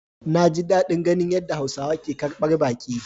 Naji dadin ganin yadda hausawa ke karbar baki.